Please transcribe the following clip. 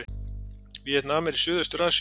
Víetnam er í Suðaustur-Asíu.